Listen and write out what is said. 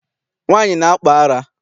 Nwaanyị na-akpụ ara.